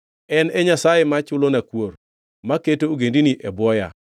En e Nyasaye ma chulona kuor, maketo ogendini e bwoya,